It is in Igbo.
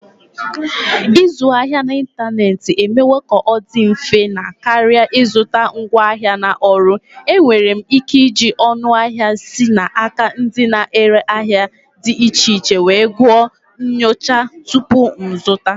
Ịzụ ahịa n'ịntanetị emewo ka ọ dị mfe na karịa ịzụta ngwaahịa na ọrụ. Enwere m ike iji ọnụahịa si n'aka ndị na-ere ahịa dị iche iche wee gụọ nyocha tupu m azụta.